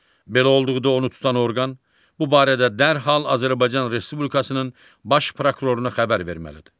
Belə olduqda onu tutan orqan bu barədə dərhal Azərbaycan Respublikasının Baş Prokuroruna xəbər verməlidir.